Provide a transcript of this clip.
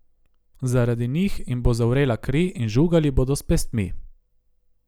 Zaradi njih jim bo zavrela kri in žugali bodo s pestmi.